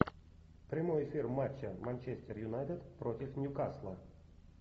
прямой эфир матча манчестер юнайтед против ньюкасла